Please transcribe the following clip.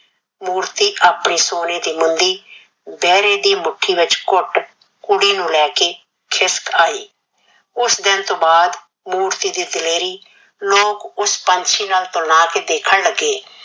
ਮੂਰਤੀ ਆਪਣੀ ਸੋਨੇ ਦੀ ਮੁੰਦੀ ਬਹਿਰੇ ਦੇ ਮੁੱਠੀ ਵਿਚ ਘੁੱਟ ਕੁੜੀ ਨੂੰ ਲੈ ਕੇ ਖਿਸਕ ਆਈ। ਉਸ ਦਿਨ ਤੋਂ ਬਾਅਦ ਮੂਰਤੀ ਦੀ ਦਲੇਰੀ ਲੋਕ ਉਸ ਪੰਛੀ ਨਾਲ ਕੇ ਦੇਖਣ ਲੱਗੇ ਜਿਹੜੇ ਸ਼ੇਰ